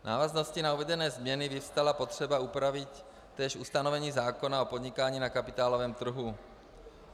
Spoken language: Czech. V návaznosti na uvedené změny vyvstala potřeba upravit též ustanovení zákona o podnikání na kapitálovém trhu.